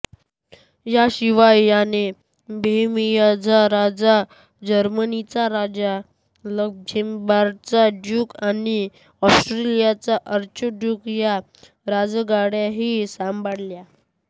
याशिवाय याने बोहेमियाचा राजा जर्मनीचा राजा लक्झेंबर्गचा ड्यूक आणि ऑस्ट्रियाचा आर्चड्यूक या राजगाद्याही सांभाळल्या